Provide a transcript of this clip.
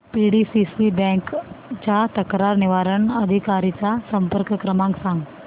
PDCC bank च्या तक्रार निवारण अधिकारी चा संपर्क क्रमांक सांग